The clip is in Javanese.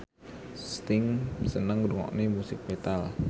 Sting seneng ngrungokne musik metal